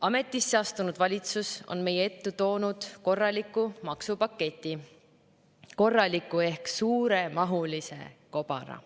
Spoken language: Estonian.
Ametisse astunud valitsus on meie ette toonud korraliku maksupaketi, korraliku ehk suuremahulise kobara.